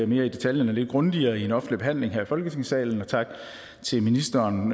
mere i detaljer lidt grundigere i en offentlig behandling her i folketingssalen tak til ministeren